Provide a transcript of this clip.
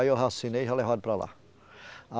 Aí eu já assinei, já levaram para lá.